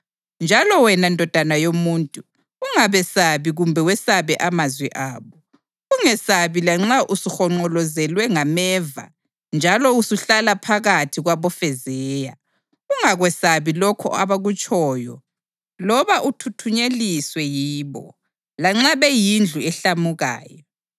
Njalo wena ndodana yomuntu, ungabesabi kumbe wesabe amazwi abo. Ungesabi lanxa usuhonqolozelwe ngameva njalo usuhlala phakathi kwabofezeya. Ungakwesabi lokho abakutshoyo loba uthuthunyeliswe yibo, lanxa beyindlu ehlamukayo.